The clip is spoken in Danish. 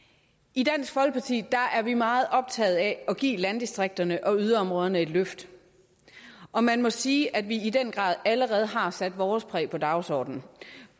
i dansk folkeparti er vi meget optaget af at give landdistrikterne og yderområderne et løft og man må sige at vi i den grad allerede har sat vores præg på dagsordenen